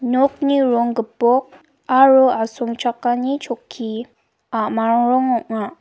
nokni rong gipok aro asongchakani chokki a·mang rong ong·a.